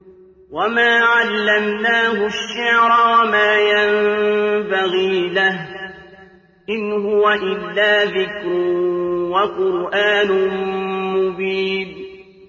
وَمَا عَلَّمْنَاهُ الشِّعْرَ وَمَا يَنبَغِي لَهُ ۚ إِنْ هُوَ إِلَّا ذِكْرٌ وَقُرْآنٌ مُّبِينٌ